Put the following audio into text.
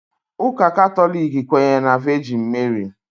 Ụka Katọlik kwenyere na Vejin Meri